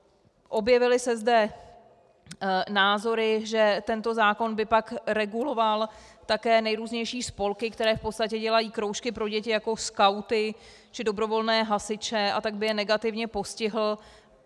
Objevily se zde názory, že tento zákon by pak reguloval také nejrůznější spolky, které v podstatě dělají kroužky pro děti, jako skauty či dobrovolné hasiče, a tak by je negativně postihl.